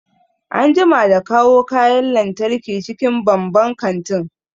An jima da kawo kayan lantarki cikin banban kantin